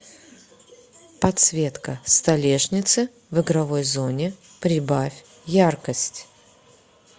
подсветка столешницы в игровой зоне прибавь яркость